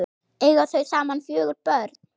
Eiga þau saman fjögur börn.